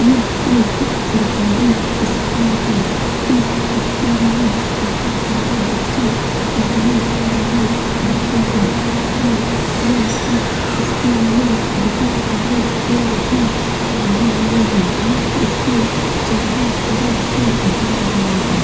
यह एक सरकारी स्कूल है इस स्कूल में बहुत सारे बच्चे पढ़ने के लिए आते हैं और यह इस स्कूल में बहुत सारे पेड़ भी लगी हुई हैं यह स्कूल चारों तरफ से घीरा हुआ है।